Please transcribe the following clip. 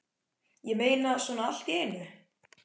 Ég meina, svona allt í einu?